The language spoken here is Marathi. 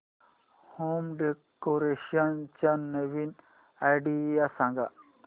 होम डेकोरेशन च्या नवीन आयडीया सांग